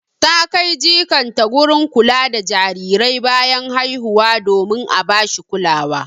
Ta kai jikanta gurin kula da jarirai bayan haihuwa domin a bashi kulawa.